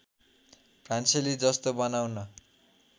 फ्रान्सेली जस्तो बनाउन